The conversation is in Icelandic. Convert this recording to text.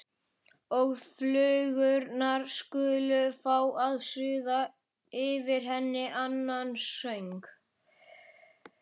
Og flugurnar skulu fá að suða yfir henni annan söng.